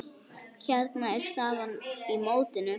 Hérna er staðan í mótinu.